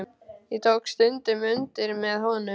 Ég tók stundum undir með honum.